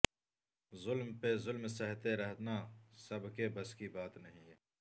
ظلم پہ ظلم سہتے رہنا سب کے بس کی بات نہیں